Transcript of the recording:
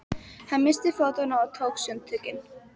Hann missti fótanna og tók sundtökin.